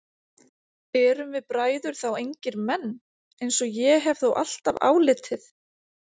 Erum við bræður þá engir menn, eins og ég hef þó alltaf álitið?